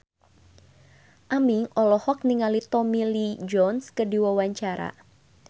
Aming olohok ningali Tommy Lee Jones keur diwawancara